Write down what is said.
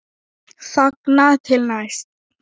Þangað til næst.